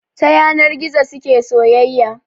Ta yanar gizo suke soyayya